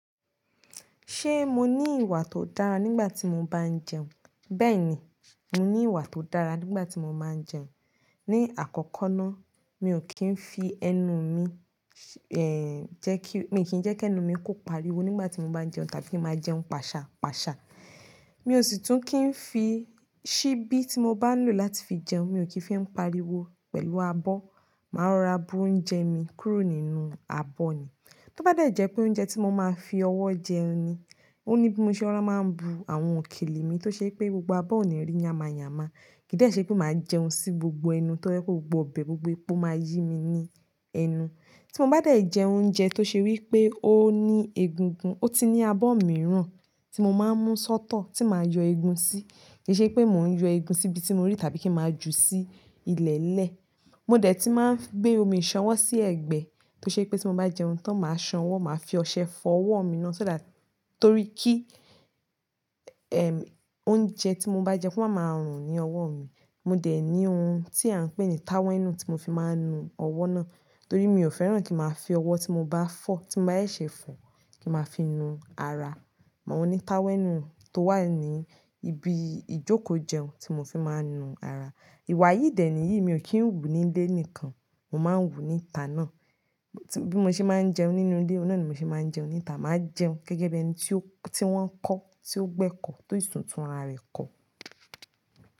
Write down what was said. Ṣé mo ní ìwà tó dára nígbà tí mo bá ń jẹun? Bẹ́ẹ̀ni, mo ní ìwà tó dára nígbà tí mo ba ń jẹun. Ni àkọ́kọ́ ná, mi ò kí ń fi ẹnu mi, eh jẹ́ kí, mi kì í jẹ́ kí ẹnu mi kò pariwo nígbà tí mo bá ń jẹun tàbí máa jẹun pàṣà pàṣà. Mi ò sì tún kí ń fi ṣíbí tí mo bá ń lò láti fi jẹun, mi ò kí ń fi ún pariwo pẹ̀lú abọ́. Màá rọra bu oúnjẹ mi kúrò nínú abọ́ ni. Tó bá dẹ̀ jẹ́ pé oúnjẹ tí mo máa fi ọwọ́ jẹ ni, ó ní bí mo ṣe máa ń bu àwọn òkèlè mi tó ṣe pé gbogbo abọ́ ò ní rí yáma yáma. Kì í dẹ́ ṣe pé màá jẹun sí gbogbo ẹnu tó jẹ́ pé gbogbo ọbẹ̀, gbogbo epo máa yí mi ní ẹnu. Tí mo bá dẹ̀ jẹ oúnjẹ tó ṣe wí pé ó ní egungun, ó ti ní abọ́ mìíràn tí mo máa ń mú sọ́tọ̀ tí màá yọ egun sí. Kì í ṣe pé mò ń yọ egun síbi tí mo rí tàbí kí màá jù sí ilẹ̀lẹ̀nle. Mo dẹ̀ ti máa ń gbé omi ìṣanwọ́ sí ẹ̀gbẹ́ tó ṣe pé tí mo bá jẹun tán màá sanwọ́, màá fi ọṣẹ fọ ọwọ́ mi ná. So that, torí kí, ẹm, oúnjẹ tí mo bá jẹ kú máa máa rùn ní ọwọ́ mi. Mo dẹ̀ ní ohun tí à ń pè ní táwẹ́ẹ́nú tí mo fi máa ń nu ọwọ́ ná. Torí mi ò fẹ́ràn kí màá fi ọwọ́ tí mo bá fọ̀, tí mo bá ẹ́ ṣe fọ̀ kí màá fi nu ara. Mo ní táwẹ́ẹ́nú tó wà ní ibi ìjókòó jẹun tí mo fi máa ń nu ara. Ìwà yìí dẹ̀ níyìí, mi ò kí ń wù ní ilé nìkan, mo máa ń wù níta ná. Bí mo ṣe máa ń jẹun nínú ilé, ó náà ni mo ṣe máa ń jẹun níta. Màá jẹun gẹ́gẹ́ bí ẹni tí ó, tí wọ́n kọ́, tí ó gbé ẹ̀kọ́, tó sisun tunrare kọ́.